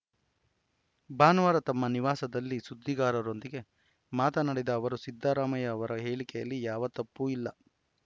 ಭಾನುವಾರ ತಮ್ಮ ನಿವಾಸದಲ್ಲಿ ಸುದ್ದಿಗಾರರೊಂದಿಗೆ ಮಾತನಾಡಿದ ಅವರು ಸಿದ್ದರಾಮಯ್ಯ ಅವರ ಹೇಳಿಕೆಯಲ್ಲಿ ಯಾವ ತಪ್ಪು ಇಲ್ಲ